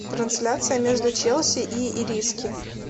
трансляция между челси и ириски